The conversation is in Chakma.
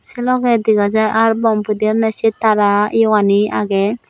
che logey dega jai ar bom pudeyoney se tara yogani agey.